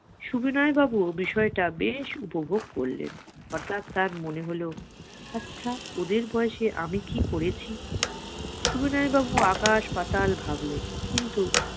সুবিনয় বাবুও ব্যাপারটা বেশ উপভোগ করলেন অর্থাৎ তার মনে হল আচ্ছা ওদের বয়সে আমি কি করেছি সুবিনয় বাবু আকাশ পাতাল ভাবলেন কিন্তু